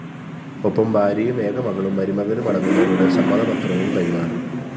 ഒപ്പം ഭാര്യയും ഏക മകളും മരുമകനുമടങ്ങുന്നവരുടെ സമ്മതപത്രവും കൈമാറി